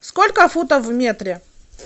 сколько футов в метре